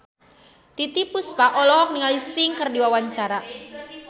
Titiek Puspa olohok ningali Sting keur diwawancara